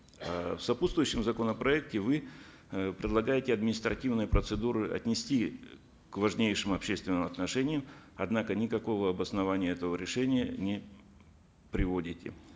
э в сопутствующем законопроекте вы э предлагаете административные процедуры отнести э к важнейшим общественным отношениям однако никакого обоснования этого решения не приводите